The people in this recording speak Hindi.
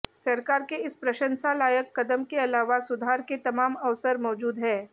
सरकार के इस प्रशंसा लायक कदम के अलावा सुधार के तमाम अवसर मौजूद हैं